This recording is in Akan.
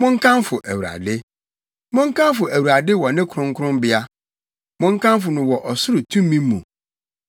Monkamfo Awurade. Monkamfo Awurade wɔ ne kronkronbea; monkamfo no wɔ ɔsoro tumi mu.